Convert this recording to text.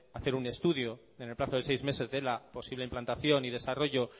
hacer un estudio en el plazo de seis meses de la posible implantación y desarrollo